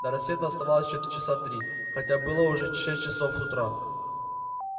до рассвета оставалось ещё часа три хотя было уже шесть часов утра